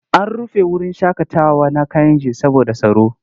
An rufe wurin shaƙatawa na Kayenji saboda tsaro.